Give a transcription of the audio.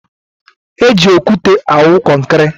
Eji okwute awụ kọnkịrị.